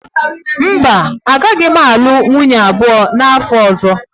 Mba, agaghị m alụ nwunye abụọ n'afọ ọzọ